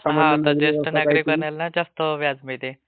हा....ज्येष्ठ नागरीकांना जास्त व्याज मिळते